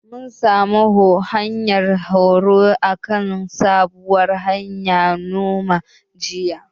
Mun halarci horo akan sabuwar hanyar noma, jiya.